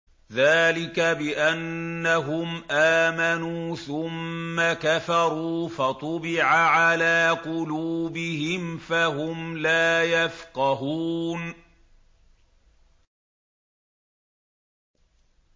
ذَٰلِكَ بِأَنَّهُمْ آمَنُوا ثُمَّ كَفَرُوا فَطُبِعَ عَلَىٰ قُلُوبِهِمْ فَهُمْ لَا يَفْقَهُونَ